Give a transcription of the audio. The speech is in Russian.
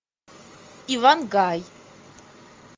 иван гай